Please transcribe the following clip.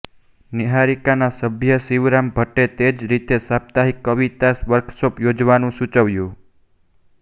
નિહારિકાના સભ્ય શિવરામ ભટ્ટે તે જ રીતે સાપ્તાહિક કવિતા વર્કશોપ યોજવાનું સૂચવ્યું